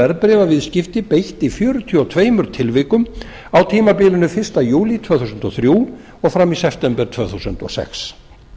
verðbréfaviðskipti beitt í fjörutíu og tveimur tilvikum á tímabilinu fyrsta júlí tvö þúsund og þrjú og fram í september tvö þúsund og sex